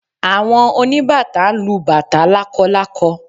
Àwọn oníbàtá ń lu bàtá lákọlákọ